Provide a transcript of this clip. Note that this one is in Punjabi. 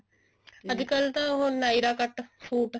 ਅੱਜਕਲ ਤਾਂ ਉਹ nyra cut suit